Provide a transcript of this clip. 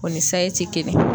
O ni sayi ti kelen